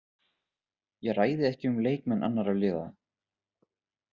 Ég ræði ekki um leikmenn annarra liða.